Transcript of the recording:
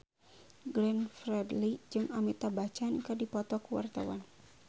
Glenn Fredly jeung Amitabh Bachchan keur dipoto ku wartawan